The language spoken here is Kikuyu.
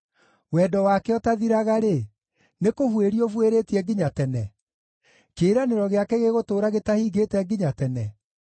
Wendo wake ũtathiraga-rĩ, nĩkũbuĩria ũbuĩrĩtie nginya tene? Kĩĩranĩro gĩake gĩgũtũũra gĩtahingĩte nginya tene?